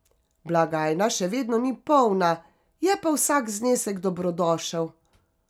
Blagajna še vedno ni polna, je pa vsak znesek dobrodošel.